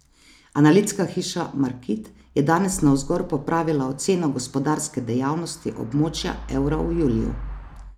Analitska hiša Markit je danes navzgor popravila oceno gospodarske dejavnosti območja evra v juliju.